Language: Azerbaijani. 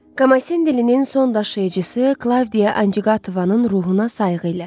Komasin dilinin son daşıyıcısı Klavdiya Anjiqavanın ruhuna sayğı ilə.